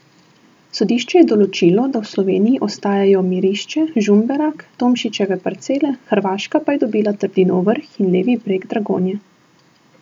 Sodišče je določilo, da v Sloveniji ostajajo Mirišče, Žumberak, Tomšičeve parcele, Hrvaška pa je dobila Trdinov vrh in levi breg Dragonje.